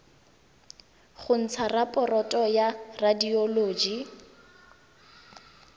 go ntsha raporoto ya radioloji